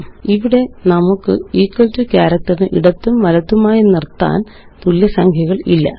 ഇവിടെ നമുക്ക് equal to ക്യാരക്റ്ററിന് ഇടത്തും വലത്തുമായി നിര്ത്താന് തുല്യ സംഖ്യകളില്ല